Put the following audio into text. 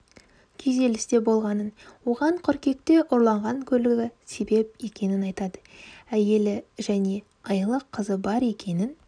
күйзелісте болғанын оған қыркүйекте ұрланған көлігі себеп екенін айтады әйелі және айлық қызы бар екенін